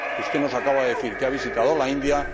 Usted nos acaba de decir que ha visitado la India